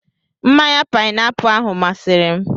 Mmanya paịnapụlụ ahụ masịrị m.